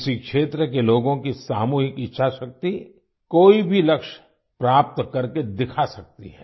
किसी क्षेत्र के लोगों की सामूहिक इच्छाशक्ति कोई भी लक्ष्य प्राप्त करके दिखा सकती है